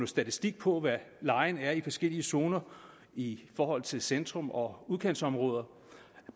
statistik på hvad lejen er i forskellige zoner i forhold til centrum og udkantsområder